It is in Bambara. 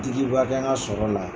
Dgiba kɛ n ka sɔrɔ la